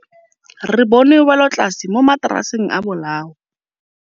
Re bone wêlôtlasê mo mataraseng a bolaô.